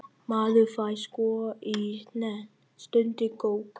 Maður fær sko í hnén, stundi Gógó.